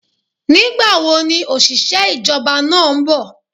Ní gbà wo ni òṣìṣẹ́ ìjọba náà nbò?